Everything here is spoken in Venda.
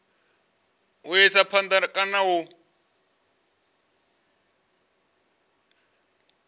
u isa phanda kana u